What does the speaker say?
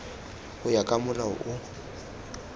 go ya ka molao o